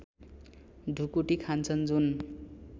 ढुकुटी खान्छन् जुन